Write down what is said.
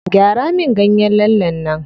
Gyara min ganyen lallen nan.